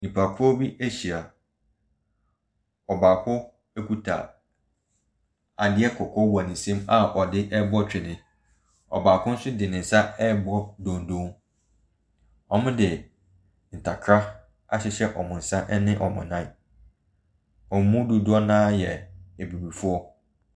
Nnipakuo bi ahyia. Ɔbaako kuta adeɛ kɔkɔɔ wɔ ne nsam a ɔde rebɔ twene. Ɔbaako nso de ne nsa ɛrebɔ dondo. Wɔde ntakra ahyehyɛ wɔn sa ne wɔn nan. Wɔn mu dodoɔ naa yɛ abibifoɔ.